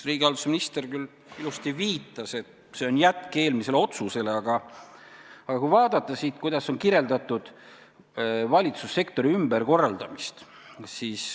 Riigihalduse minister küll ilusasti viitas, et see on eelmise otsuse jätk, aga vaatame, kuidas on kirjeldatud valitsussektori ümberkorraldamist.